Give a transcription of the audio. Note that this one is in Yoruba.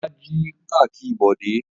Olá jí kakí Bọ̀dé?